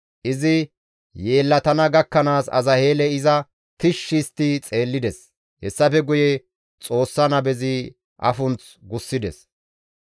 Izi yeellatana gakkanaas Azaheeley iza tishshi histti xeellides; hessafe guye Xoossa nabezi ayfunth gussides.